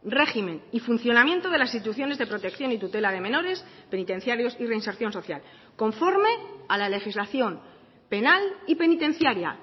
régimen y funcionamiento de las instituciones de protección y tutela de menores penitenciarios y reinserción social conforme a la legislación penal y penitenciaria